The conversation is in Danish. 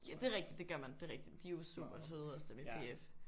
Ja det er rigtigt. Det gør man. Det er rigtigt. De er jo super søde også dem i PF